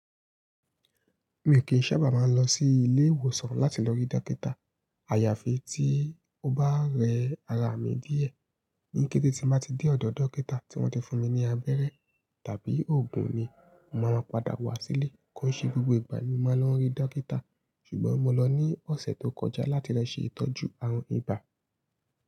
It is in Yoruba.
Mii kìí sábà máa ń lọ sí ilé ìwòsàn láti lọ rí dókítà. Àyàfi tí ó bá rẹ ara mi díẹ̀. Ní kété tí mo bá ti dé ọ̀dọ̀ dókítà tí wọ́n ti fún mi ní abẹ́rẹ́ tàbí òògùn ni má ma padà wá sílé. Kòo ṣe gbogbo ìgbà ni màá ń lọo rí dókítà. Ṣùgbọ́n mo lọ ní ọ̀sẹ̀ tó kọjá láti lo ṣe ìtọ́jú àrùn ibà.